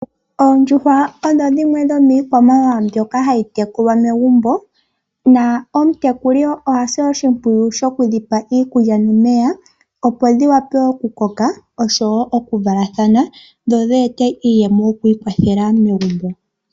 Oondjuhwa odho dhimwe dhomiikwamawawa mbyoka hayi tekulwa megumbo. Nomutekuli oha si oshimpwiyu shoku dhi pa iikulya nomeya, opo dhi wape okukoka nosho wo okuvalathana dho dhi ete iiyemo yoku ikwathela megumbo.